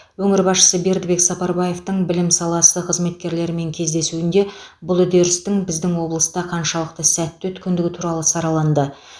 өңір басшысы бердібек сапарбаевтың білім саласы қызметкерлерімен кездесуінде бұл үдерістің біздің облыста қаншалықты сәтті өткендігі туралы сараланды